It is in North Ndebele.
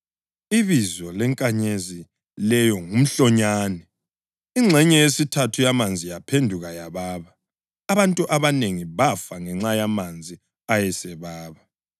ibizo lenkanyezi leyo nguMhlonyane. Ingxenye yesithathu yamanzi yaphenduka yababa, abantu abanengi bafa ngenxa yamanzi ayesebaba.